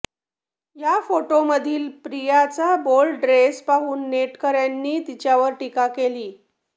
या फोटोमधील प्रियाचा बोल्ड ड्रेस पाहून नेटकऱ्यांनी तिच्यावर टीका केली